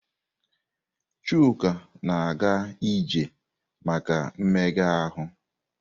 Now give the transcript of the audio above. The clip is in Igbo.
Chuka na-aga ije maka mmega ahụ.